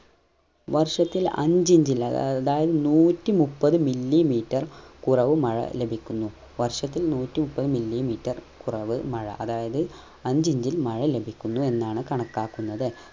വർഷത്തിൽ അഞ്ചു inch ൽ അതായത് നൂറ്റിമുപ്പത് milli meter കുറവ് മഴ ലഭിക്കുന്നു വർഷത്തിൽ നൂറ്റിമുപ്പത് milli meter കുറവ് മഴ അതായത് അഞ്ചു inch ൽ മഴ ലഭിക്കുന്നു എന്നാണ് കണക്കാക്കുന്നത്